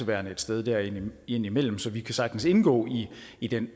værende et sted der imellem imellem så vi kan sagtens indgå i den